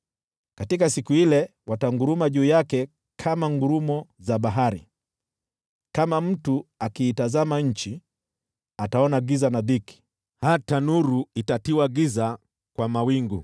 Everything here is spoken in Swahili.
Katika siku ile watanguruma juu yake kama ngurumo za bahari. Kama mtu akiitazama nchi, ataona giza na dhiki; hata nuru itatiwa giza kwa mawingu.